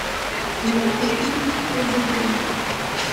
найти фильм скуби ду